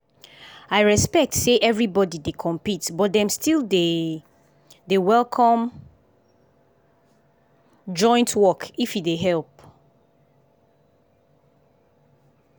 i respect say everybody dey compete but dem still dey dey welcome joint work if e dey help.